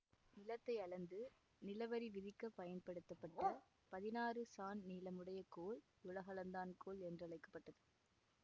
நிலத்தை அளந்து நிலவரி விதிக்க பயன்படுத்தப்பட்ட பதினாறு சாண் நீளமுடைய கோல் உலகளந்தான் கோல் என்றழைக்க பட்டது